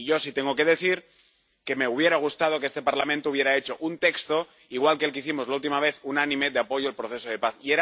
Y yo sí tengo que decir que me hubiera gustado que este Parlamento hubiera hecho un texto, igual que el que hicimos la última vez, unánime, de apoyo al proceso de paz.